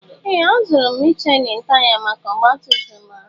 Ee! Azụrụ m Michelin taya maka ọgbatumtum a.